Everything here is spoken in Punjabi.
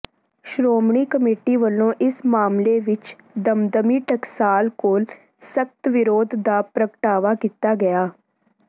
ਸ਼੍ਰੋਮਣੀ ਕਮੇਟੀ ਵੱਲੋਂ ਇਸ ਮਾਮਲੇ ਵਿਚ ਦਮਦਮੀ ਟਕਸਾਲ ਕੋਲ ਸਖ਼ਤ ਵਿਰੋਧ ਦਾ ਪ੍ਰਗਟਾਵਾ ਕੀਤਾ ਗਿਆ